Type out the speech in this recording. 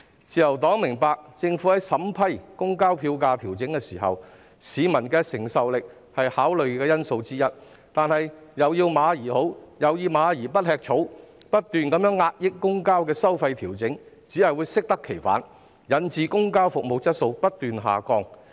自由黨明白，政府在審批調整公共交通票價的申請時，市民的承受力是考慮因素之一，但"又要馬兒好，又要馬兒不吃草"，不斷壓抑公共交通的收費調整只會適得其反，導致公共交通服務質素不斷下降。